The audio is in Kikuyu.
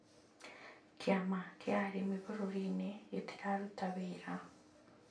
Kĩama kĩa arĩmi bũrũri-inĩ gĩtiraruta wĩra